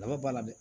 Daba b'a la dɛ